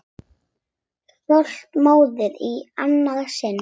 Stolt móðir í annað sinn.